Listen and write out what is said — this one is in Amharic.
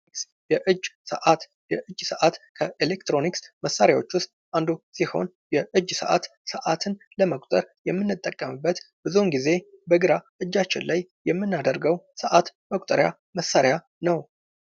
ከኤሌክትሮኒክስ መሳሪያዎች አንዱ ሲሆን የእጅ ሰዓት ሰአትን ለመቁጠር የምንጠቀምበት ብዙውን ጊዜ በግራ እጃችን ላይ የምናደርገው ሰዓት መቁጠሪያ መሳሪያ ነው።